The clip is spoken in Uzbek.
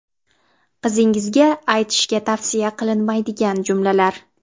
Qizingizga aytish tavsiya qilinmaydigan jumlalar.